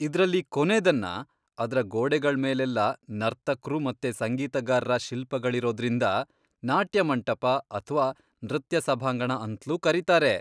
ಇದ್ರಲ್ಲಿ ಕೊನೇದನ್ನ ಅದ್ರ ಗೋಡೆಗಳ್ಮೇಲೆಲ್ಲ ನರ್ತಕ್ರು ಮತ್ತೆ ಸಂಗೀತಗಾರ್ರ ಶಿಲ್ಪಗಳಿರೋದ್ರಿಂದ ನಾಟ್ಯ ಮಂಟಪ ಅಥ್ವಾ ನೃತ್ಯ ಸಭಾಂಗಣ ಅಂತ್ಲೂ ಕರೀತಾರೆ.